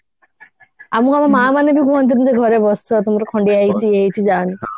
ଆମକୁ ଆମ ମାଆ ମାନେ ବି କୁହନ୍ତିନି ଯେ ଘରେ ବସ ତମର ଖଣ୍ଡିଆ ହେଇଯାଇଛି ଇଏ ହେଇଯାଇଛି ଯାଆନି